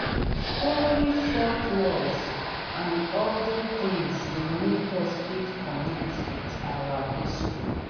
story folklores and oda things dey make us fit connect with our history